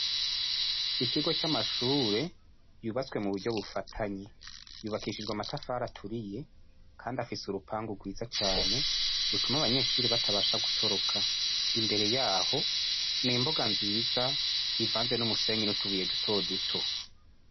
Ikigo c'amashure yubatse mu buryo bufatanye yubakishije amatafari aturiye afise urupangu rwiza cane rutuma abanyeshuri batabasha gutoroka imbere yaho n'imbuga nziza ivanze n'umusenyi n'utubuye duto duto.